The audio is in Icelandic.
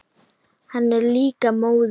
Hann er líka móður.